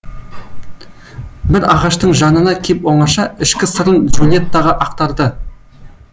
бір ағаштың жанына кеп оңаша ішкі сырын джульеттаға ақтарды